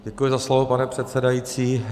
Děkuji za slovo, pane předsedající.